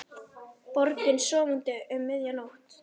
Borgin sofandi um miðja nótt.